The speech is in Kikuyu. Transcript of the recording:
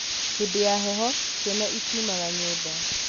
hĩndĩ ya heho ciana itiumaga nyũmba